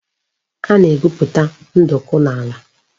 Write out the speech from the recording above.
A na-egwuputa nduku n'ala